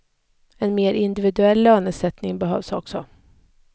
En mer individuell lönesättning behövs också.